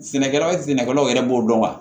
Sɛnɛkɛla sɛnɛkɛlaw yɛrɛ b'o dɔn wa